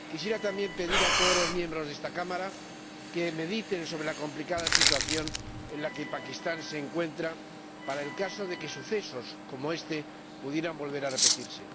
Quisiera, también, pedir a todos los miembros de esta Cámara que mediten sobre la complicada situación en la que se encuentra Pakistán, para el caso de que sucesos como este pudieran volver a repetirse.